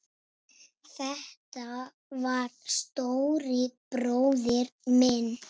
Þetta var stóri bróðir minn.